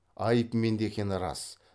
айып менде екені рас